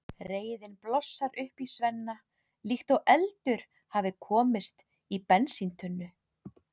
Reiðin blossar upp í Svenna líkt og eldur hafi komist í bensíntunnu.